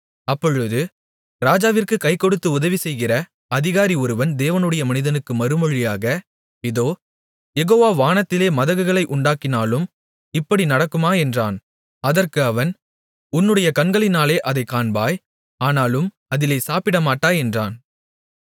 அப்பொழுது ராஜாவிற்குக் கை கொடுத்து உதவி செய்கிற அதிகாரி ஒருவன் தேவனுடைய மனிதனுக்கு மறுமொழியாக இதோ யெகோவா வானத்திலே மதகுகளை உண்டாக்கினாலும் இப்படி நடக்குமா என்றான் அதற்கு அவன் உன்னுடைய கண்களினாலே அதைக் காண்பாய் ஆனாலும் அதிலே சாப்பிடமாட்டாய் என்றான்